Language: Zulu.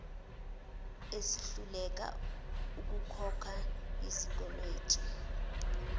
esihluleka ukukhokha izikweletu